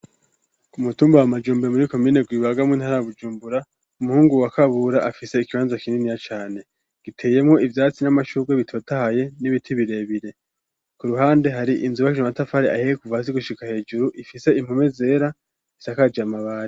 Ku mutumba wa majumbe muri komine gwibaga mu ntara ya Bujumbura, umuhungu wa Kabura afise ikibanza kininiya cane ;giteyemwo ivyatsi n'amashurwe bitotahaye n'ibiti birebire ku ruhande hari inzu y'amatafari ahiye kuva hasi gushika hejuru ifise impome zera isakaje amabati.